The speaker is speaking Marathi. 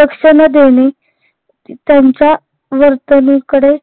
लक्ष न देणे त्यांच्या वर्तणूककडे